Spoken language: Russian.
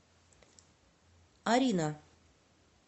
арина